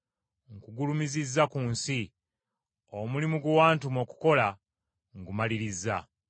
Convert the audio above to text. Nkugulumizizza ku nsi, omulimu gwe wantuma okukola, ngumalirizza.